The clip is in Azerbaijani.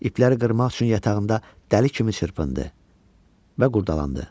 İpləri qırmaq üçün yatağında dəli kimi çırpındı və qurdalandı.